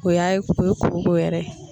O y'a ye, o ye koko yɛrɛ ye